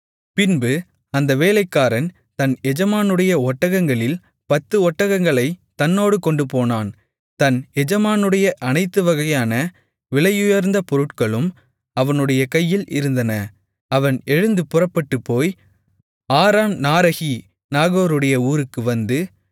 பின்பு அந்த வேலைக்காரன் தன் எஜமானுடைய ஒட்டகங்களில் பத்து ஒட்டகங்களைத் தன்னோடு கொண்டுபோனான் தன் எஜமானுடைய அனைத்துவகையான விலையுயர்ந்த பொருட்களும் அவனுடைய கையில் இருந்தன அவன் எழுந்து புறப்பட்டுப்போய் ஆரம்நாரஹி நாகோருடைய ஊருக்கு வந்து